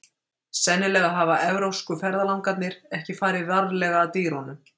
sennilega hafa evrópsku ferðalangarnir ekki farið varlega að dýrunum